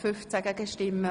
Sprecher/in)